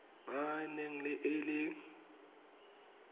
ba e neng e le